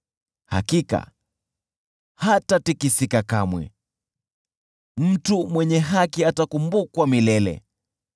Hakika hatatikisika kamwe, mtu mwenye haki atakumbukwa milele.